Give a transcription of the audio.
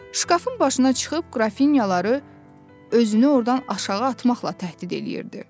Şkafın başına çıxıb qrafinyaları özünü ordan aşağı atmaqla təhdid eləyirdi.